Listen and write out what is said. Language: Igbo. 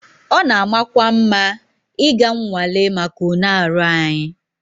It is good to go for medical tests